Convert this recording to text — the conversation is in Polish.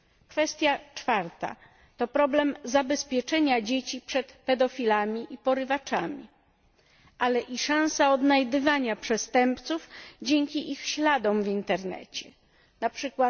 Kwestia czwarta to problem zabezpieczenia dzieci przed pedofilami i porywaczami, ale i szansa odnajdywania przestępców dzięki ich śladom w Internecie np.